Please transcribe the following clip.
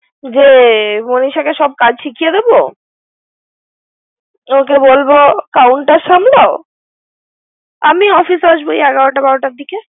যে মনিষাকে সব কাজ শিখেয়ে দিবে ওকে বলব counter সামলাও আমি অফিসের আসব ওই এগারটা বারোটার দিকে।